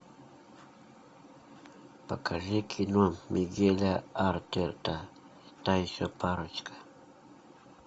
покажи кино мигеля артета та еще парочка